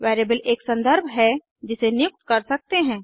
variable एक संदर्भ है जिसे नियुक्त कर सकते हैं